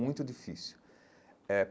Muito difícil eh.